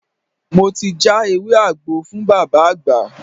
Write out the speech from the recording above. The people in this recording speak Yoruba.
Mo ti já ewé àgbo fún Bàbá àgbà.